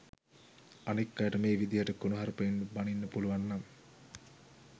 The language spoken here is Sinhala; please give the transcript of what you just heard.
අනෙක් අයට මේ විදිහට කුණුහරුපෙන් බණින්න පුළුවන්නම්